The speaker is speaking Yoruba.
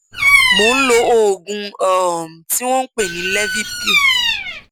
mò ń lo oògùn um tí wọn ń pè ní levipil